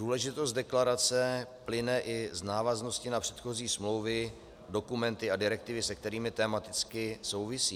Důležitost deklarace plyne i z návaznosti na předchozí smlouvy, dokumenty a direktivy, se kterými tematicky souvisí.